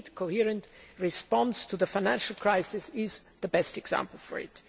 The needed coherent response to the financial crisis is the best example for it.